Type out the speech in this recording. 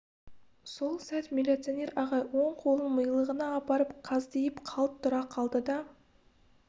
сол сәт милиционер ағай оң қолын милығына апарып қаздиып қалт тұра қалды да